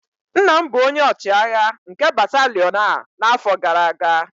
nna m bụ onye ọchịagha nke batalion a n'afọ gara aga